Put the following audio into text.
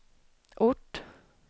ort